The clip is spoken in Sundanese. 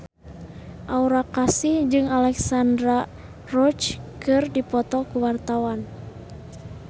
Aura Kasih jeung Alexandra Roach keur dipoto ku wartawan